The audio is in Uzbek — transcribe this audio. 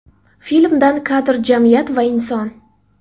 Filmdan kadr Jamiyat va inson.